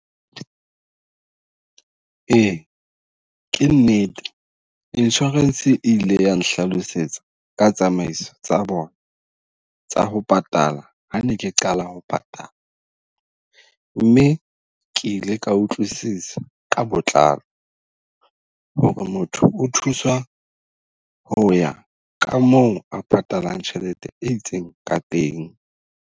Ee ke nnete, insurance e ile ya nhlalosetsa ka tsamaiso tsa bona tsa ho patala ha ne ke qala ho patala. Mme ke ile ka utlwisisa ka botlalo ho re motho o thuswa ho ya ka moo a patalang tjhelete e itseng ka teng.